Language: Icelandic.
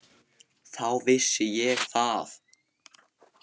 Þá vissi ég það.